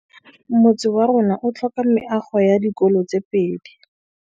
Motse warona o tlhoka meago ya dikolô tse pedi.